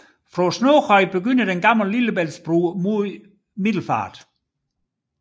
Fra Snoghøj begynder den Gamle Lillebæltsbro mod Middelfart